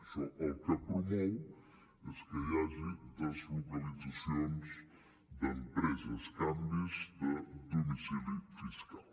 això el que promou és que hi hagi deslocalitzacions d’empreses canvis de domicili fiscal